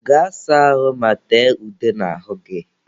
Gaa saa ahụ ma tee ude n'ahụ gị!